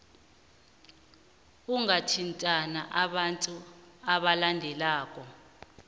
ungathintana nabantu abalandelako